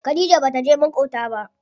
Khadija bata je maƙota ba.